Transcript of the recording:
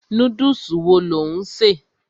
Núdùsì wo lò ń ṣè?